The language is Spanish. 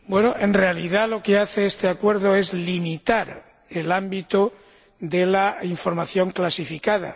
Bueno, en realidad, lo que hace este acuerdo es limitar el ámbito de la información clasificada